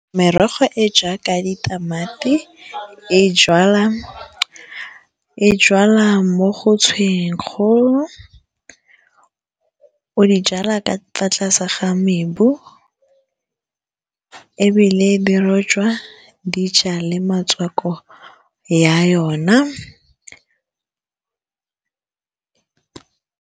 Merogo e jaaka ditamati e jalwa mo go tshwenyang kgolo o di jalwa ka fa tlase ga mebu ebile di rojwa dijalo metswako ya yona.